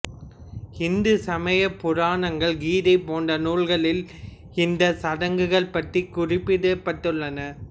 இந்து சமய புராணங்கள் கீதை போன்ற நூல்களில் இந்த சடங்குகள் பற்றி குறிப்பிடப் பட்டுள்ளன